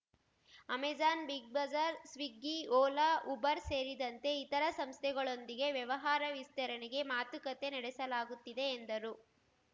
Amazon Big Bazaar Swiggy Ola Uber ಸೇರಿದಂತೆ ಇತರೆ ಸಂಸ್ಥೆಗಳೊಂದಿಗೆ ವ್ಯವಹಾರ ವಿಸ್ತರಣೆಗೆ ಮಾತುಕತೆ ನಡೆಸಲಾಗುತ್ತಿದೆ ಎಂದರು